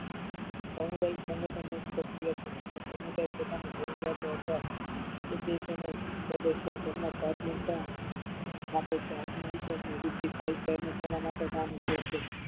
સામુદાયિક સંગઠન એક પરક્રિયાક છે. તેમાં સામુદાયિક એક પ્રકારની જરૂરિયાત આથવા ઉદ્દેશોને શોધે છે. તેમાં ના પ્રાથમિકતા રાખે છે. આત્મ વિશ્વાસની વૃદ્ધિ થાય છે. અને તેના માટે કામ કરે છે.